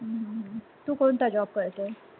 हम्म हम्म तू कोणता job करते?